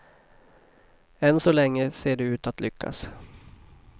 Än så länge ser de ut att lyckas.